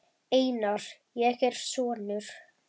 Einar, ég er sonur.